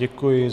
Děkuji.